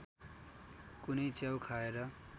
कुनै च्याउ खाएर